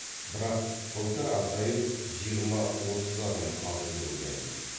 бірақ былтыр азайып жиырма отыз адам қалды деп ойлайым